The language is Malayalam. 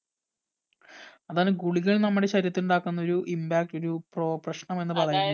അതാണ് ഗുളികകൾ നമ്മുടെ ശരീരത്തിൽ ഉണ്ടാക്കുന്ന ഒരു impact ഒരു പ്രൊ പ്രശ്‌നം എന്ന് പറയുന്നത്